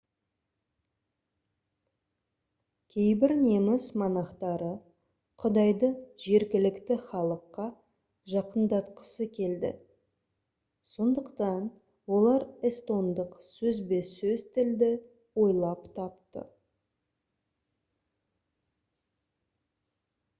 кейбір неміс монахтары құдайды жергілікті халыққа жақындатқысы келді сондықтан олар эстондық сөзбе-сөз тілді ойлап тапты